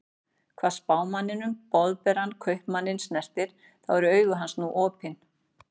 Hvað Spámanninn Boðberann Kaupmanninn snertir, þá eru augu hans nú opin.